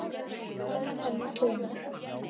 Hann var tómur.